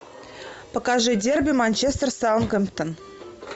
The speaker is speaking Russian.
покажи дерби манчестер саутгемптон